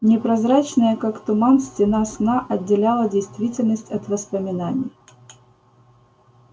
непрозрачная как туман стена сна отделяла действительность от воспоминаний